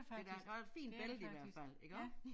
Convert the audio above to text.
Det da og et fint bælte i hvert fald iggå